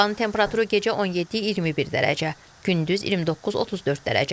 Havanın temperaturu gecə 17-21 dərəcə, gündüz 29-34 dərəcə.